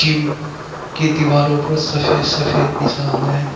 कीम की दीवारों पर सफेद सफेद निशान है।